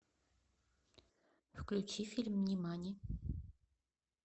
включи фильм нимани